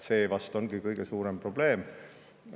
See vast ongi kõige suurem probleem.